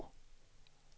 Bov